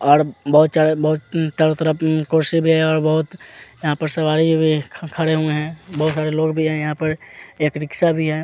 और बहोत आ चारो तरफ कुर्सी भी है यहाँ पर सवारी भी खड़े हुए है बहोत सारे लोग भी यहाँ पर यहाँ पे एक रिक्शा भी है।